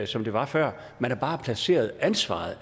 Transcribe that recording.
som det var før man har bare placeret ansvaret